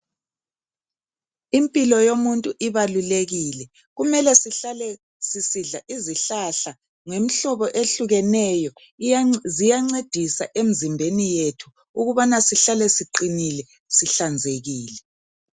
Impilo yomuntu ibalulekile kumele sihlale sisidla izihlahla ngemhlobo ehlukeneyo ziyancedisa emzimbeni yethu ukubana sihlale siqinile sihlanzekile.